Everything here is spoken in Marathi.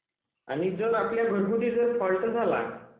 आणि आपल्या घरगुती जर फॉल्ट झाला